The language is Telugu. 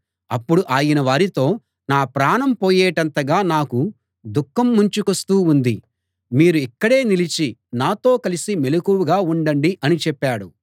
అప్పుడు ఆయన వారితో నా ప్రాణం పోయేటంతగా నాకు దుఃఖం ముంచుకొస్తూ ఉంది మీరు ఇక్కడే నిలిచి నాతో కలిసి మెలకువగా ఉండండి అని చెప్పాడు